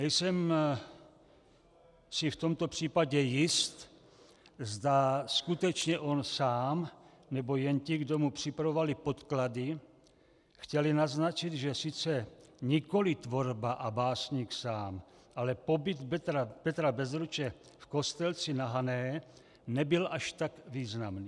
Nejsem si v tomto případě jist, zda skutečně on sám nebo jen ti, kdo mu připravovali podklady, chtěli naznačit, že sice nikoliv tvorba a básník sám, ale pobyt Petra Bezruče v Kostelci na Hané nebyl až tak významný.